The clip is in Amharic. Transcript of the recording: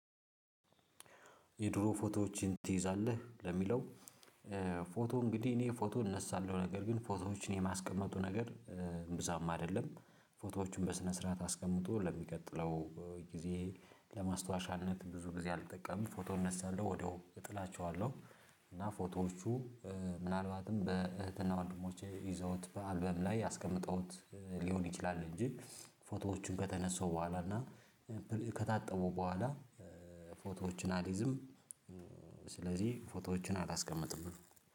የድሮ ፎቶዎችን ትይዛለህ? ለሚለው ፎቶ እንግዲህ እኔ ፎቶ እነሳለሁ ነገር ግን ፎቶዎችን የማስቀመጡ ነገር እምብዛም አይደለም። ፎቶዎቹን በስነ ስርዓት አስቀምጦ ለሚቀጥለው ጊዜ ለማስታወሻነት ብዙ ጊዜ አልጠቀምም ፎቶ እነሳለሁ ወዲያው እጥላቸዋለሁ። እና ፎቶዎቹ ምናልባትም በእህትና ወንድሞቼ ይዘውት በአልበም ላይ ያስቀመጠውት ሊሆን ይችላል። እንጂ ፎቶዎቹን ከተነሳው በኋላ እና ከታጠቡ በኋላ ፎቶዎችን አላይዝም። ስለዚህ ፎቶዎችን አላስቀምጥም